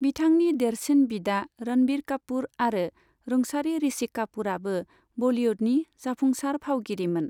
बिथांनि देरसिन बिदा रणविर कापूर आरो रुंसारि ऋषि कापूरआबो बलीवुडनि जाफुंसार फावगिरिमोन।